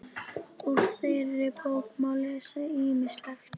Úr þeirri bók má lesa ýmislegt.